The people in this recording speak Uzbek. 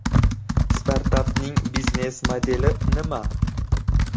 Startapning biznes-modeli nima?.